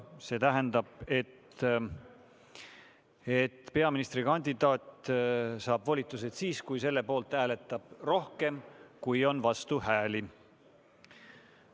See tähendab, et peaministrikandidaat saab volitused siis, kui selle poolt hääletab rohkem, kui on vastuhääli.